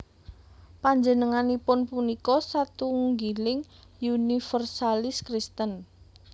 Panjenenganipun punika satunggiling univèrsalis Kristen